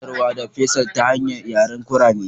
Ina iya sadarwa da Faisal ta hanyar yaren kurame.